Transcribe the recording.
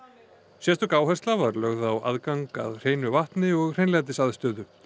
sérstök áhersla var lögð á aðgang að hreinu vatni og hreinlætisaðstöðu